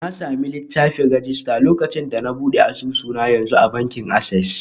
Na sami littafin rajista lokacin da na buɗe asusu na yanzu a bankin Access.